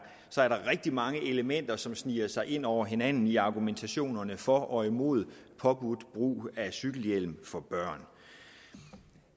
er der rigtig mange elementer som sniger sig ind over hinanden i argumentationen for og imod påbudt brug af cykelhjelm for børn